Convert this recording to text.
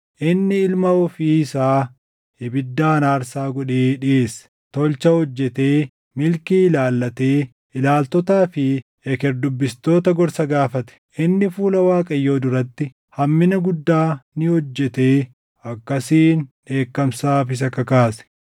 Inni ilma ofii isaa ibiddaan aarsaa godhee dhiʼeesse; tolcha hojjetee, milkii ilaallatee, ilaaltotaa fi eker dubbistoota gorsa gaafate. Inni fuula Waaqayyoo duratti hammina guddaa ni hojjetee akkasiin dheekkamsaaf isa kakaase.